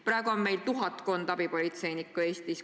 Praegu on Eestis tuhatkond abipolitseinikku.